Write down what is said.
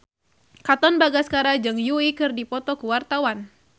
Katon Bagaskara jeung Yui keur dipoto ku wartawan